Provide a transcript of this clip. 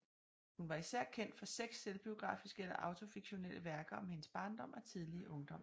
Hun var især kendt for seks selvbiografiske eller autofiktionelle værker om hendes barndom og tidlige ungdom